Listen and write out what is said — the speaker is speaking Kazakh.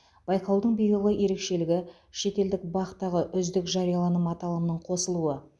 байқаудың биылғы ерекшелігі шетелдік бақ тағы үздік жарияланым аталымының қосылуы